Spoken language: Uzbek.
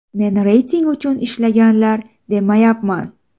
Men reyting uchun ishlanglar, demayapman.